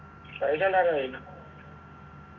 പൈസ ഉണ്ടാക്കാൻ കഴിഞ്ഞാ